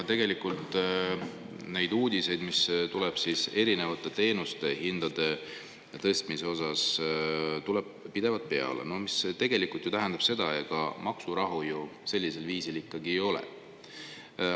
Tegelikult neid uudiseid erinevate teenuste hindade tõstmise kohta tuleb pidevalt peale, mis tähendab, et ega maksurahu ju sellisel viisil ikkagi ei ole.